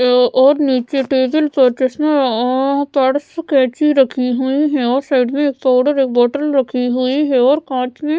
और एक नीचे टेबल पर चश्मा और बड़ा सी कैची रखी हुई है और साइड में पावडर और एक बोतल रखी हुई है और कांच की --